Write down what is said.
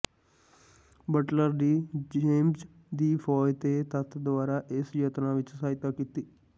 Butler ਦੀ James ਦੀ ਫੌਜ ਦੇ ਤੱਤ ਦੁਆਰਾ ਇਸ ਯਤਨਾਂ ਵਿੱਚ ਸਹਾਇਤਾ ਕੀਤੀ